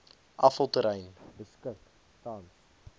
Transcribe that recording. afvalterrein beskik tans